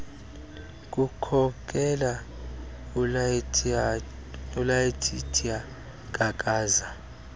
kukhokela ulaetitia kakaza